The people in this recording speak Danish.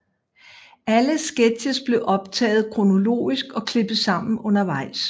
Alle sketches blev optaget kronologisk og klippet sammen undervejs